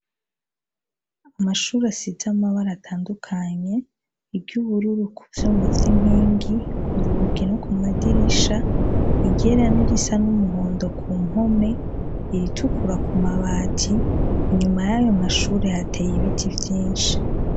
Amashure asize amabara atandukanye iry’ubururu kuvyuma vy’inkingi k’urugi no ku madirisha, n’irisa nkumuhondo ku mpome, iritukura ku mabati. Inyuma yayo mashure hateye ibiti vyinshi.